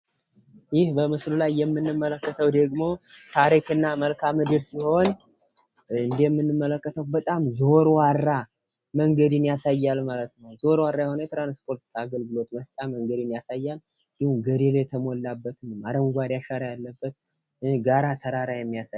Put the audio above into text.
ይህ በምስሉ ላይ የምንመለከተው ደግሞ ታሪክ እና መልካዓ-ምድር ሲሆን የምንመለከተው በጣም ዘወርዋራ መንገድን ያሳያል ማለት ነው። ዘወርዋራ መንገድ ትራንስፖርት አገልግሎትን ያሳያል። በረዶ የተሞላበት አረንጓዴ አሻራ ያለበት። እንዲሁም ጋራ ተራራ የሚያሳይ